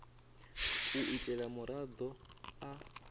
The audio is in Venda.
u ita uri muraḓo a